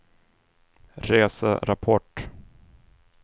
reserapport